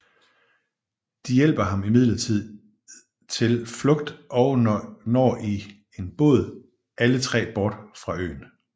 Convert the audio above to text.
De hjælper ham imidlertid til flugt og når i en båd alle tre bort fra øen